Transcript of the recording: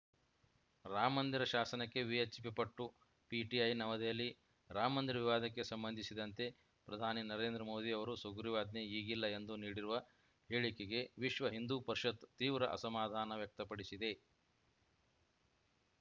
ರಾಮಮಂದಿರ ಶಾಸನಕ್ಕೆ VHP ಪಟ್ಟು PTI ನವದೆಹಲಿ ರಾಮಮಂದಿರ ವಿವಾದಕ್ಕೆ ಸಂಬಂಧಿಸಿದಂತೆ ಪ್ರಧಾನಿ ನರೇಂದ್ರ ಮೋದಿ ಅವರು ಸುಗ್ರೀವಾಜ್ಞೆ ಈಗಿಲ್ಲ ಎಂದು ನೀಡಿರುವ ಹೇಳಿಕೆಗೆ ವಿಶ್ವ ಹಿಂದೂ ಪರಿಷತ್ ತೀವ್ರ ಅಸಮಾಧಾನ ವ್ಯಕ್ತಪಡಿಸಿದೆ